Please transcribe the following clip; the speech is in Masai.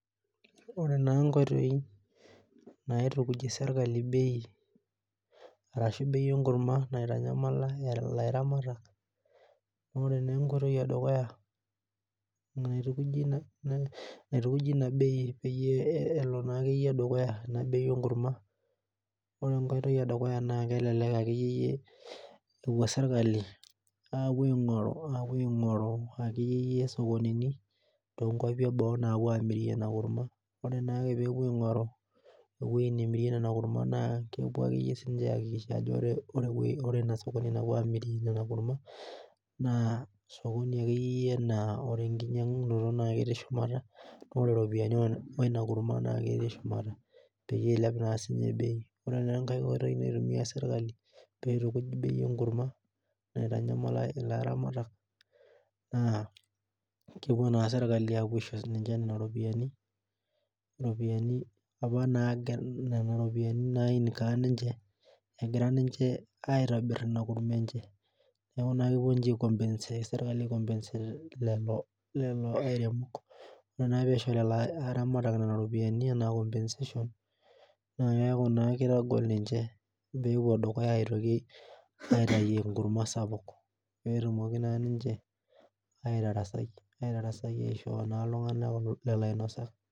Ore naa inkoitoi naitukuj serkali bei naitanyamala ilaramatak ore naa enkoitoi edukuya naitukujie ina bei peyie elo naa akeyie dukuya ena bei enkurma ore enkai toki edukuya naa kelelek akeyie epuo sirkali apuo aing'oru akeyie sokonini toonkuapi eboo aapuo amirie ina kurma naa ore peepuo aing'oru ewueji namirie ina kurma naa kepuo aakikisha aajo ore ina sokoni napuo amirie ina kurma naq sokoni akeyie yie naa ore enkinyiang'unoto naa ketiis shumata peyie eilep na siininye bei ore naa enkae oitoi naitumiya serkali peitukuj bei enkurma naitanyamala ilaramatak naa kepuo naa serkali apuo aisho siininche nena ropiyiani apa naa nena ropiyiani nainkaa ninche egira ninche aitobir ina kurmaa enye neeku kepuo ninche serkali aikompaset lelo airemok ore naa ake peisho lelo aramat iropiyiani enaa compensation naa keeku naa keitagol ninche peepuo dukuya aitayu enkurma sapuk peetumoki naa ninche aitarasai aishoo lelo ainosak